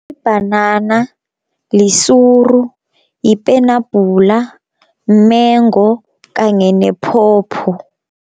Bhanana, lisuru, yipenabhula, mengo kanye nephopho.